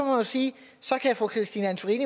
jo sige at så kan fru christine antorini